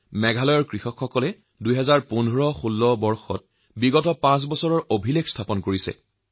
আমাৰ মেঘালয়ৰ কৃষকসকলে ২০১৫১৬ বৰ্ষত বিগত পাঁচ বছৰৰ তুলনাত অভিলেখ পৰিমাণ উৎপাদন কৰিছে